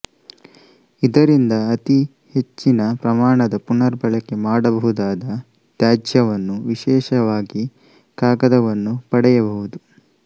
ಇದರಿಂದ ಅತಿ ಹೆಚ್ಚಿನ ಪ್ರಮಾಣದ ಪುನರ್ಬಳಕೆ ಮಾಡಬಹುದಾದ ತ್ಯಾಜ್ಯವನ್ನು ವಿಶೇಷವಾಗಿ ಕಾಗದವನ್ನು ಪಡೆಯಬಹುದು